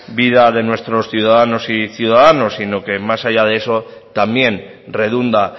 vida de nuestros ciudadanas y ciudadanos sino que más allá de eso también redunda